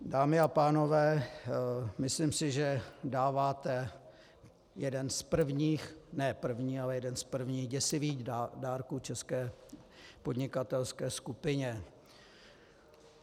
Dámy a pánové, myslím si, že dáváte jeden z prvních, ne první, ale jeden z prvních děsivých dárků české podnikatelské skupině.